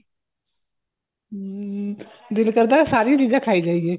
ਹਮ ਦਿਲ ਕਰਦਾ ਸਾਰੀ ਚੀਜ਼ਾਂ ਖਾਈ ਜਾਈਏ